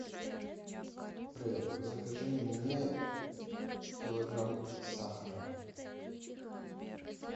привет закажи мне килограмм сахара